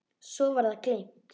Svo var það gleymt.